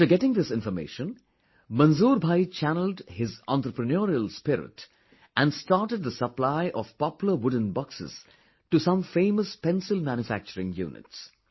After getting this information, Manzoor bhai channeled his entrepreneurial spirit and started the supply of Poplar wooden boxes to some famous pencil manufacturing units